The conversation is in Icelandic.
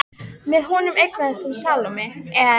Með honum eignast hún Salóme, en